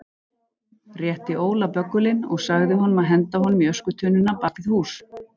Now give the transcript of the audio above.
Rétti Óla böggulinn og sagði honum að henda honum í öskutunnuna bak við hús.